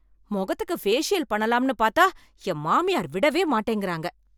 முகத்துக்கு பேசியல் பண்ணலாம்னு பார்த்தா என் மாமியார் விடவே மாட்டேங்கிறாங்க